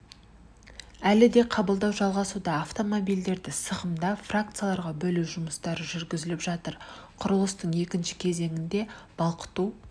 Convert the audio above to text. әлі де қабылдау жалғасуда автомобильдерді сығымдап фракцияларға бөлу жұмыстары жүргізіліп жатыр құрылыстың екінші кезеңінде балқыту